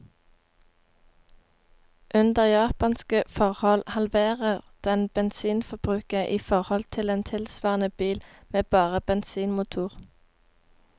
Under japanske forhold halverer den bensinforbruket i forhold til en tilsvarende bil med bare bensinmotor.